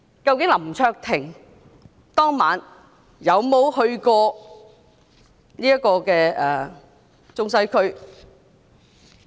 究竟林卓廷議員當晚有沒有去過中西區？